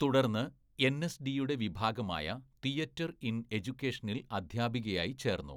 തുടർന്ന് എൻഎസ്‌ഡിയുടെ വിഭാഗമായ തിയേറ്റർ ഇൻ എജ്യുക്കേഷനിൽ അധ്യാപികയായി ചേർന്നു.